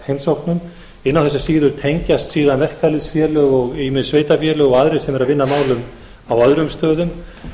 heimsóknum inn á þessa síðu tengjast síðan verkalýðsfélög og ýmis sveitarfélög og aðrir sem eru að vinna að málum á öðrum stöðum